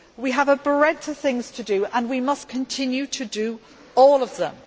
We have a breadth of things to do and we must continue to do all of them.